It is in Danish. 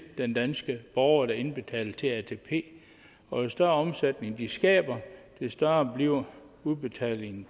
den danske borger der indbetaler til atp og jo større omsætning de skaber des større bliver udbetalingen